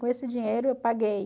Com esse dinheiro eu paguei